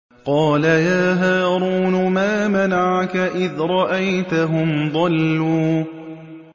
قَالَ يَا هَارُونُ مَا مَنَعَكَ إِذْ رَأَيْتَهُمْ ضَلُّوا